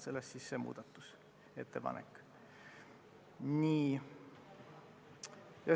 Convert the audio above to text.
Sellest siis see muudatusettepanek.